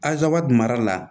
Azabɛ dugala la